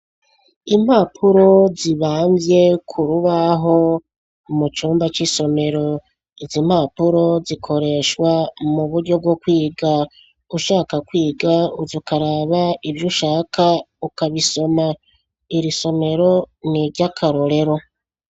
Impapuro zibamvye ku rubaho mu cumba c'isomero, izi mpapuro zikoreshwa mu buryo bwo kwiga ushaka kwiga uza ukaraba ivyo ushaka ukabisoma, iri somero n'iryakarorero.